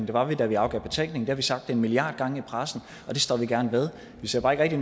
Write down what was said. det var vi da vi afgav betænkning det har vi sagt en milliard gange i pressen og det står vi gerne ved vi ser bare ikke